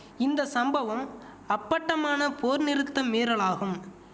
இந்த சம்பவம் அப்பட்டமான போர் நிறுத்த மீறலாகும்